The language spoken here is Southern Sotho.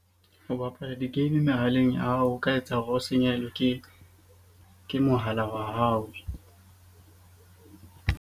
Ho bapala di-game mehaleng ya hao, o ka etsa hore o senyehelwe ke mohala wa hao.